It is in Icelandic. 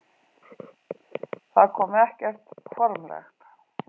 Það kom ekkert formlegt.